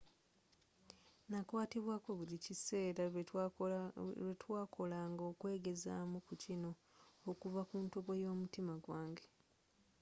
nakwatibwako buli kaseera lwe twakolanga okwegezaamu ku kino okuva ku ntobo y'omutima gwange.